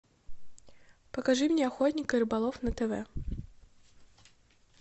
покажи мне охотник и рыболов на тв